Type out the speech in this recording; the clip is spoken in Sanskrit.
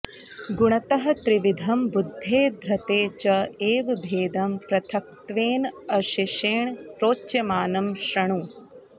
गुणतः त्रिविधं बुद्धेः धृतेः च एव भेदं पृथक्त्वेन अशेषेण प्रोच्यमानं शृणु